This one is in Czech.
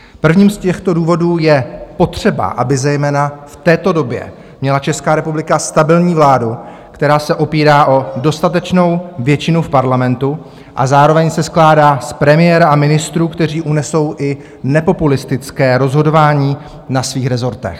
Prvním z těchto důvodů je potřeba, aby zejména v této době měla Česká republika stabilní vládu, která se opírá o dostatečnou většinu v Parlamentu a zároveň se skládá z premiéra a ministrů, kteří unesou i nepopulistické rozhodování na svých rezortech.